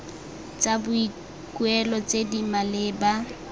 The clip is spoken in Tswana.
tsa boikuelo tse di maleba